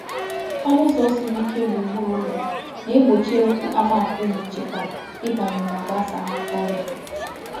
Ọnụ ụzọ siri ike gburugburu ụlọ na-egbochi ewu a na-apụghị ịchịkwa ịbanye ma gbasaa ọrịa.